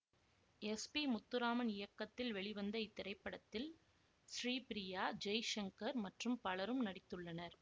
S P Muthuraman இயக்கத்தில் வெளிவந்த இத்திரைப்படத்தில் ஸ்ரீபிரியா ஜெய்சங்கர் மற்றும் பலரும் நடித்துள்ளனர்